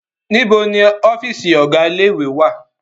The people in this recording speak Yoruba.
Níbo ni ọ́fíísì ọ̀gá ilé-ìwé wá à?